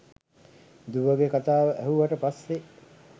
දුවගෙ කතාව ඇහුවට පස්සෙ